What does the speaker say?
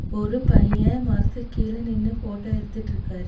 ஒரு பையன் மரத்துக்கு கீழ நின்னு போட்டோ எடுத்துட்டிருக்காரு.